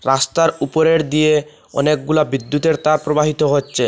রাস্তার উপরের দিয়ে অনেকগুলা বিদ্যুতের তার প্রবাহিত হচ্ছে।